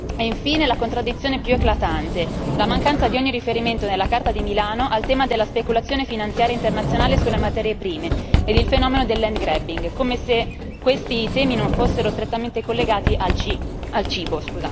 E infine la contraddizione più eclatante la mancanza di ogni riferimento nella Carta di Milano al tema della speculazione finanziaria internazionale sulle materie prime ed il fenomeno del land grabbing come se questi temi non fossero strettamente collegati al cibo.